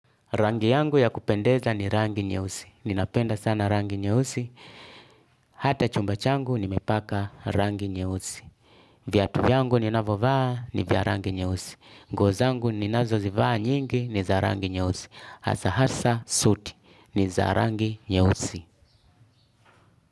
Rangi yangu ya kupendeza ni rangi nyeusi. Ninapenda sana rangi nyeusi. Hata chumba changu nimepaka rangi nyeusi. Viatu yangu ni navovaa ni vya rangi nyeusi. Nguo zangu ni nazo zivaa nyingi ni za rangi nyeusi. Hasa hasa suti ni za rangi nyeusi.